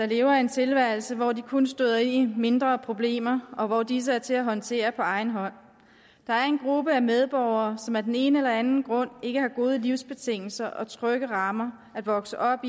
lever en tilværelse hvor de kun støder ind i mindre problemer og hvor disse er til at håndtere på egen hånd der er en gruppe medborgere som af den ene eller den anden grund ikke har gode livsbetingelser og trygge rammer at vokse op